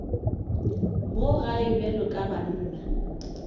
mo gae bjalo ka banna